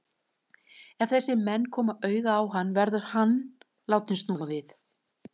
Ef þessir menn koma auga á hann, verður hann látinn snúa við.